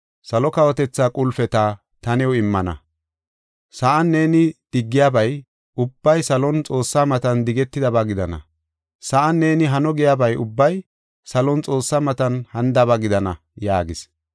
Salo kawotethaa qulpeta ta new immana. Sa7an neeni diggiyabay ubbay salon Xoossaa matan digetidaba gidana. Sa7an neeni hano giyabay ubbay salon Xoossaa matan hanidaba gidana” yaagis.